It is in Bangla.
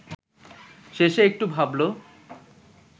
শেষে একটু ভাবল